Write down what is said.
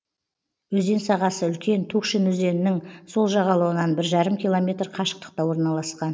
өзен сағасы үлкен тукшин өзенінің сол жағалауынан бір жарым километр қашықтықта орналасқан